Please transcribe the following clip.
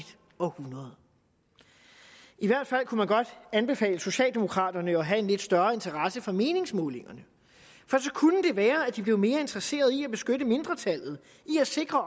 århundrede i hvert fald kunne man godt anbefale socialdemokraterne at have en lidt større interesse for meningsmålingerne for så kunne det være at de blev mere interesseret i at beskytte mindretallet i at sikre